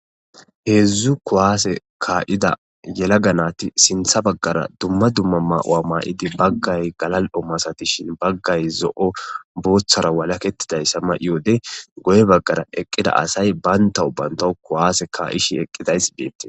Heedzdzu kuwaase kaa'ida yelaga nati sintha baggara dumma dumma mawa maa'idi baggay galal'o masatishin baggay zo'o booththara walaketiday sama iyode goye baggara eqqida asay baynta ubbanta kuwaase kaa'ishi eqqidays beetti.